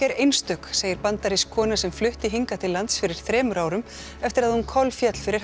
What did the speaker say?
er einstök segir bandarísk kona sem flutti hingað til lands fyrir þremur árum eftir að hún kolféll fyrir